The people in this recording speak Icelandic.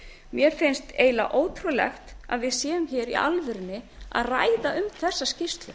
mér finnst eiginlega ótrúlegt að við séum hér í alvörunni að ræða um þessa skýrslu